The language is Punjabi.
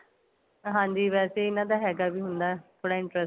ਹਾਂਜੀ ਵੈਸੇ ਇਹਨਾ ਦਾ ਹੈਗਾ ਵੀ ਹੁੰਦਾ ਥੋੜਾ interest